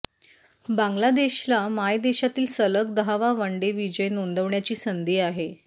बांगलादेशला मायदेशातील सलग दहावा वनडे विजय नोंदवण्याची संधी आहे